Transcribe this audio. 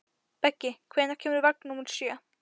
Beggi, hvenær kemur vagn númer sjö?